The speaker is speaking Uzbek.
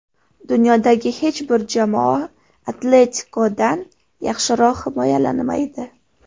Dunyodagi hech bir jamoa ‘Atletiko‘dan yaxshiroq himoyalanmaydi.